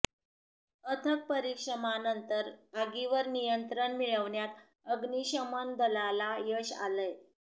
अथक परिश्रमानंतर आगिवर नियंत्रण मिळवण्यात आग्निशमन दलाला यश आलंय